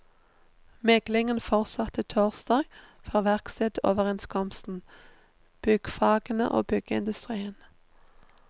Meglingen fortsatte torsdag for verkstedoverenskomsten, byggfagene og byggeindustrien.